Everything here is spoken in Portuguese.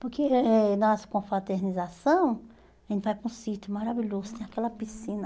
Porque eh na nossa confraternização, a gente vai para um sítio maravilhoso, tem aquela piscina.